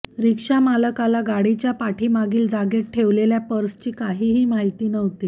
रिक्षा मालकाला गाडीच्या पाठीमागील जागेत ठेवलेल्या पर्सची काहीही माहिती नव्हती